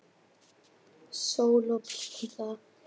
Helsta heimild og mynd